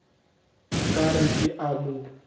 ka re ke a mo